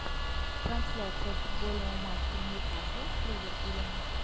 трансляция футбольного матча ньюкасл с ливерпулем